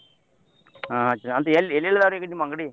ಹಾ ಚ ಅಂದ್ರ ಎಲ್ ಎಲ್ಲೆಲ್ ಅದಾವ್ರಿ ನಿಮ್ ಅಂಗಡಿ?